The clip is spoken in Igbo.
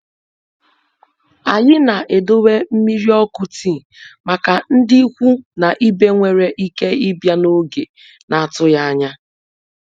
Anyị na-edowe mmiri ọkụ tii màkà ndị ikwu na ibe nwéré ike ịbịa n'oge n'atụghị ányá.